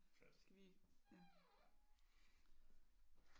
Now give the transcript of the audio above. Skal vi ja